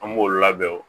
An b'olu labɛn o